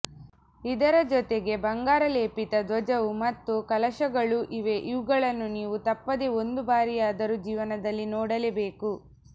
ಇದರ ಜೊತೆಗೆ ಬಂಗಾರ ಲೇಪಿತ ದ್ವಜವು ಮತ್ತು ಕಲಶಗಳೂ ಇವೆ ಇವುಗಳನ್ನೂ ನೀವು ತಪ್ಪದೆ ಒಂದು ಬಾರಿಯಾದರೂ ಜೀವನದಲ್ಲಿ ನೋಡಲೇಬೇಕು